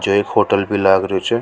जे एक होटल भी लाग रियो छ।